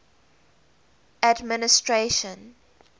administration